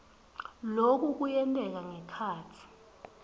loku kuyenteka ngekhatsi